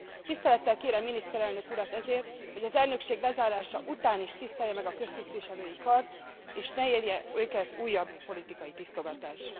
Tisztelettel kérem a miniszterelnök urat ezért, hogy az elnökség lezárása után is tisztelje meg a köztisztviselői kart, és ne érje őket újabb politikai tisztogatás.